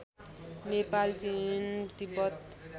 Nepal Chin Tibet